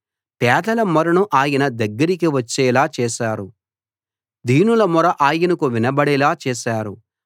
పేదల మొరను ఆయన దగ్గరికి వచ్చేలా చేశారు దీనుల మొర ఆయనకు వినబడేలా చేశారు